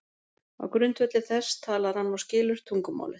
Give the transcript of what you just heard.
Á grundvelli þess talar hann og skilur tungumálið.